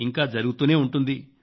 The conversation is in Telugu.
ఇంకా జరుగుతూనే ఉంటుంది